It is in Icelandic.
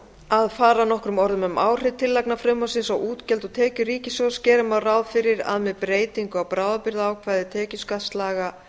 að fara nokkrum orðum um áhrif tillagna frumvarpsins á útgjöld og tekjur ríkissjóðs gera má ráð fyrir því að með breytingu á bráðabirgðaákvæði tekjuskattslaga